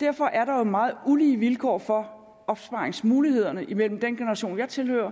derfor er der jo meget ulige vilkår for opsparingsmulighederne imellem den generation jeg tilhører